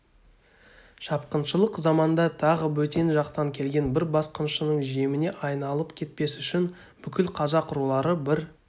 шапқыншылық заманда тағы бөтен жақтан келген бір басқыншының жеміне айналып кетпес үшін бүкіл қазақ рулары бір